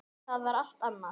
Það var allt annað.